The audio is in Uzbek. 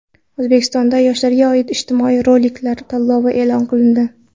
O‘zbekistonda yoshlarga oid ijtimoiy roliklar tanlovi e’lon qilindi.